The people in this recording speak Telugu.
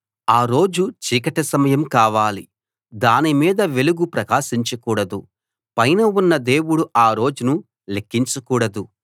ఆ రోజు చీకటిమయం కావాలి దాని మీద వెలుగు ప్రకాశించకూడదు పైన ఉన్న దేవుడు ఆ రోజును లెక్కించకూడదు